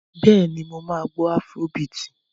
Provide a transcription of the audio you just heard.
Bẹ́ẹ̀ni, mo máa gbọ́ afúró biìtì.